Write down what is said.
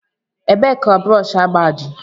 Ebee ka brọsh agba dị?